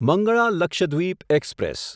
Mangala Lakshadweep express